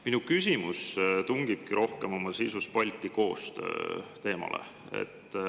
Minu küsimus oma sisus rohkem Balti koostöö teemale.